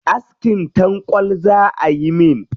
Askin tanƙwal za ayi min.